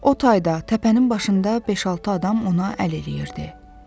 O tayda, təpənin başında beş-altı adam ona əl eləyirdi.